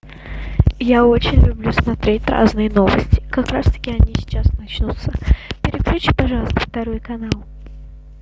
я очень люблю смотреть разные новости как раз таки они сейчас начнутся переключи пожалуйста второй канал